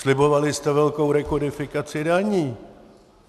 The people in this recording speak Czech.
Slibovali jste velkou rekodifikaci daní.